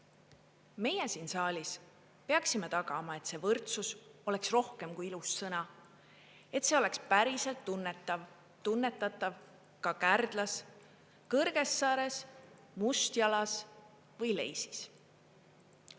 Meie siin saalis peaksime tagama, et see võrdsus oleks rohkem kui ilus sõna, et see oleks päriselt tunnetatav ka Kärdlas, Kõrgessaares, Mustjalas või Leisis.